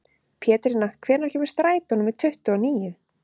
Pétrína, hvenær kemur strætó númer tuttugu og níu?